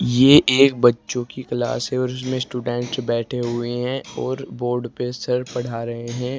ये एक बच्चों की क्लास है जिसमें स्टूडेंट बैठे हुए हैं और बोर्ड पर सर पड़ा रहे हैं।